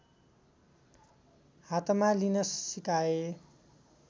हातमा लिन सिकाए